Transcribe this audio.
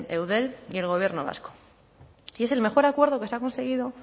eudel y el gobierno vasco y es el mejor acuerdo que se ha conseguido